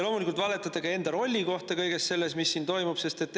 Loomulikult valetate te ka enda rolli kohta kõiges selles, mis siin toimub.